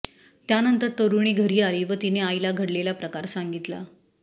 त्यानंतर तरुणी घरी आली व तिने आईला घडलेला प्रकार सांगितला